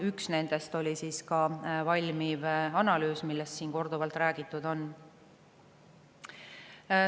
Üks nendest oli ka valmiv analüüs, millest siin korduvalt räägitud on.